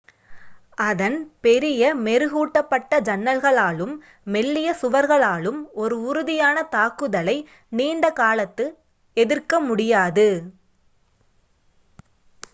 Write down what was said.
அதன் பெரிய மெருகூட்டப்பட்ட ஜன்னல்களாலும் மெல்லிய சுவர்களாலும் ஒரு உறுதியான தாக்குதலை நீண்ட காலத்துக்கு எதிர்க்க முடியாது